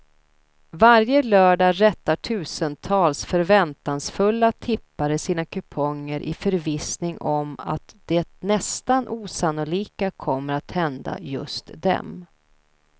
Varje lördag rättar tusentals förväntansfulla tippare sina kuponger i förvissning om att det nästan osannolika kommer att hända just dem.